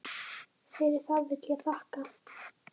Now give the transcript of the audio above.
Fyrir það vil ég þakka.